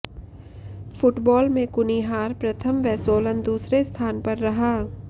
football में कुनिहार प्रथम व सोलन दूसरे स्थान पर रहा